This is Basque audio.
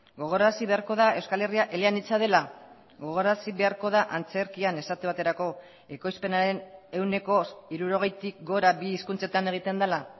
gogorarazi beharko da euskal herria eleanitza dela gogorarazi beharko da antzerkian esate baterako ekoizpenaren ehuneko hirurogeitik gora bi hizkuntzetan egiten dela